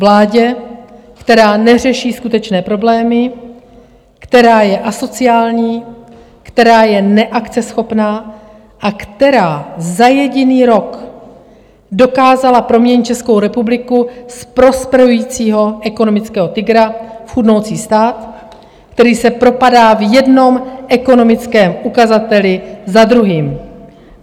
Vládě, která neřeší skutečné problémy, která je asociální, která je neakceschopná a která za jediný rok dokázala proměnit Českou republiku z prosperujícího ekonomického tygra v chudnoucí stát, který se propadá v jednom ekonomickém ukazateli za druhým.